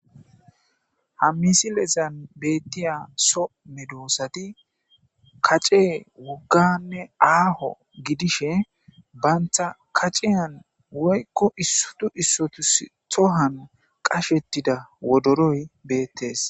Hammisilezan beettiya so medoosati kace wogganne aaho gidishe bantha kaceyan woykko issotu issotus tohan qashettida wodoroy beettes.